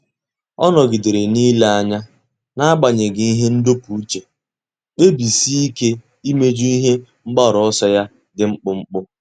Ọ́ nọ́gídèrè n’ílé anya n’ágbànyéghị́ ihe ndọpụ uche, kpebisie ike íméjú ihe mgbaru ọsọ ya dị mkpụmkpụ.